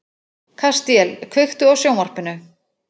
Kastíel, kveiktu á sjónvarpinu.